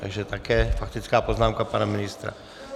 Takže také faktická poznámka pana ministra.